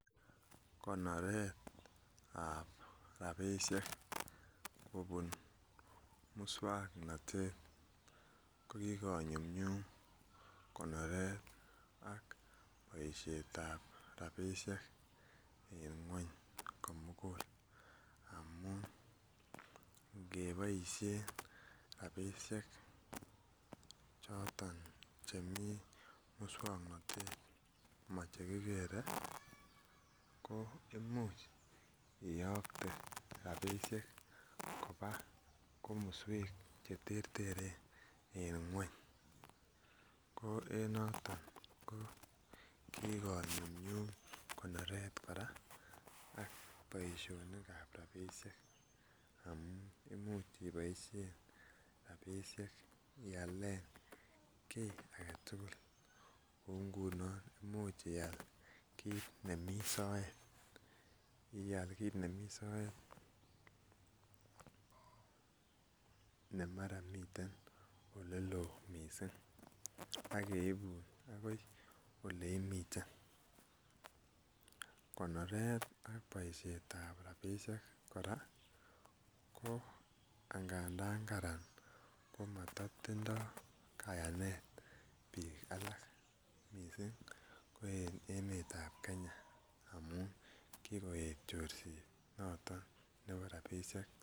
Konoretab rabishek kobun muswongnotet ko kikonyumnyum konoret ak boishetab rabishek en kweny komugul amun ngeboishen rabishek choton chemii muswongnotet mo che kigere ko imuch iyokte rabishek kobaa komoswek che terteren en kweny ko en noton ko kikonyumnyum konoret koraa ak boisionikab rabishek amun imuch ii boishen rabishek ialen kii agetugul kouu ngunon imuch ial kit nemii soet ial kit nemii soet ne maraa miten ole loo missing ak keibun agoi ole imiten. Konoret ak boishetab rabishek koraa ko angadan Karan ko moto tindo kayanet biik alak missing kouu emetab Kenya amun kikoet chorset noton nebo rabishek